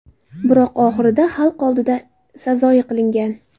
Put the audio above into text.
Biroq oxirida xalq oldida sazoyi qilingan.